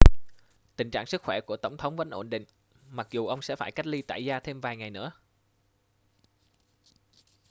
tình trạng sức khỏe của tổng thống vẫn ổn định mặc dù ông sẽ phải cách ly tại gia thêm vài ngày nữa